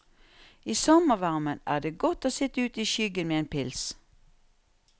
I sommervarmen er det godt å sitt ute i skyggen med en pils.